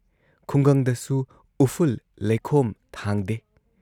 ꯈꯨꯡꯒꯪꯗꯁꯨꯨ ꯎꯐꯨꯜ ꯂꯩꯈꯣꯝ ꯊꯥꯡꯗꯦ ꯫